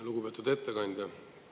Lugupeetud ettekandja!